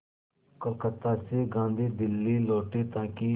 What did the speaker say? कलकत्ता से गांधी दिल्ली लौटे ताकि